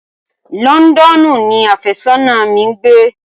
Londonu ni afésónà mi ń gbé.